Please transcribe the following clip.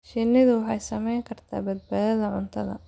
Shinnidu waxay saamayn kartaa badbaadada cuntada.